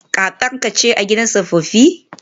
Kakarka ce a gidan tsofaffi?